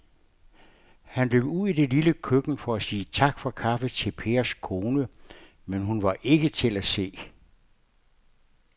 Han løb ud i det lille køkken for at sige tak for kaffe til Pers kone, men hun var ikke til at se.